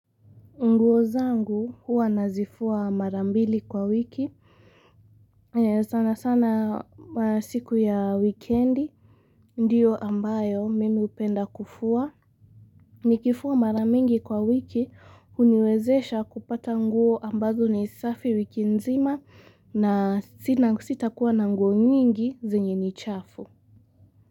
Nguo zangu huwa nazifua mara mbili kwa wiki. Sana sana siku ya wikendi. Ndiyo ambayo mimi hupenda kufua. Nikifua mara mingi kwa wiki huniwezesha kupata nguo ambazo ni safi wiki nzima na sitakuwa na nguo nyingi zenye ni chafu.